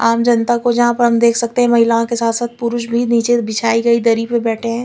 आम जनता को हम देख सकते है महिलाओं के साथ साथ पुरुष भी निचे बिछायी गयी दरी पर बेठ है।